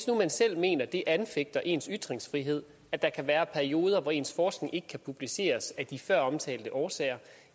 nu selv mener at det anfægter ens ytringsfrihed at der kan være perioder hvor ens forskning ikke kan publiceres af de føromtalte årsager